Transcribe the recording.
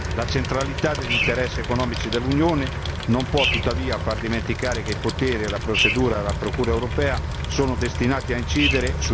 La centralità degli interessi economici dell'Unione non può tuttavia far dimenticare che i poteri e la procedura della procura europea sono destinati a incidere sui diritti fondamentali del cittadino.